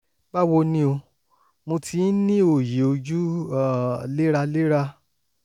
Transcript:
báwo ni o? mo ti ń ní òòyì ojú um léraléra